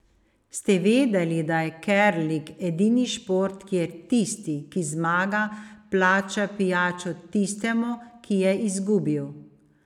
Ste vedeli, da je kerling edini šport, kjer tisti, ki zmaga, plača pijačo tistemu, ki je izgubil?